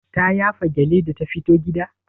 Ta yafa gyalle da ta fito gida?